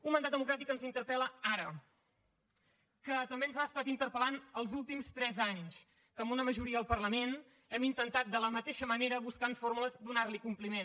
un mandat democràtic que ens interpel·la ara que també ens ha estat interpel·lant els últims tres anys que amb una majoria al parlament hem intentat de la mateixa manera buscant fórmules donar hi compliment